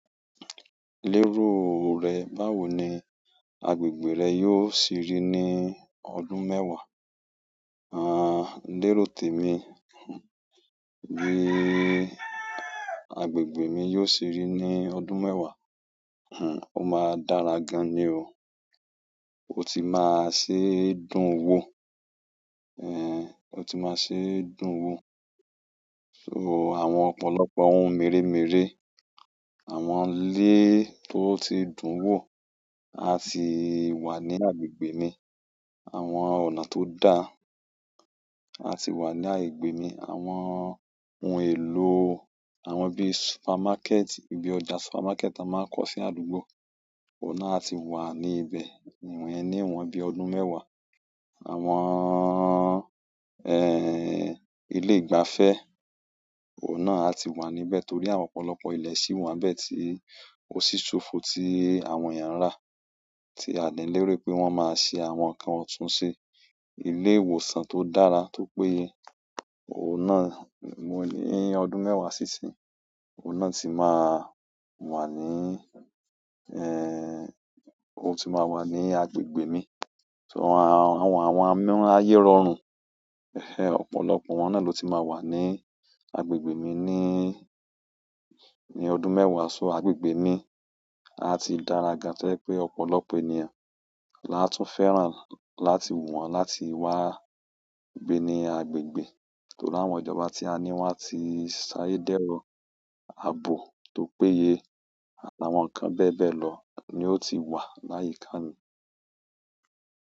Lérò rẹ, báwo ni agbègbè rẹ yóò sì rí ní ọdún mẹ́wàá? Àń, lérò tèmi, bí i agbègbè mi yóò sì rí ní ọdún mẹ́wàá, hmmm ọ máa dára gan ni o. O ti maa n se dùn wo so àwọn ọ̀pọ̀lọpọ̀ ohun mèremère, àwọn ilé tó ti dùn wò, a sì wà ní agbègbè mi. Àwọn ọ̀nà tó dà, a sì wà ní agbègbè mi. Àwọn ohun èlò, àwọn bí supermákẹ́ẹ̀tì, bí ọjà supermákẹ́ẹ̀tì a máa ń kọ̀ sí àdúgbò, ọ̀nà a ti wà ní ibẹ̀. Ìwọ yẹn ní wọn bí ọdún mẹ́wàá. Àwọn, ẹẹ́ ilé ìgbafẹ́, ọ̀nà a ti wà níbẹ̀ torí àwọn ọ̀pọ̀lọpọ̀ ilẹ̀ sí wà níbẹ̀ tí ó sì ṣófo tí àwọn èèyàn rà. Tí a dèlérò pé wọ́n máa ṣe àwọn nǹkan ọ̀túnṣe. Ilé ìwòsàn tó dára, tó péye, ọ̀nà ń, ní ọdún mẹ́wàá sí ìsìn, ọ̀nà tí máa wà ní, o ti máa wà ní agbègbè mi. So àwọn, ayẹ rọrùn, ọ̀pọ̀lọpọ̀ wọ́n náà ló ti máa wà ní agbègbè mi níí, ní ọdún mẹ́wàá. So agbègbè mi a ti dára gan-an tẹ́ pé ọ̀pọ̀lọpọ̀ ènìyàn là tún fẹ́ràn láti wù wọ́n láti wá gbé ní agbègbè. Torí àwọn ìjọba tí a ní wọ́n ti ṣayẹdẹ́rọ ààbò tó péye àti àwọn nǹkan bẹ́ẹ̀ bẹ́ẹ̀ lọ ni ó ti wà láyìí kàn ni.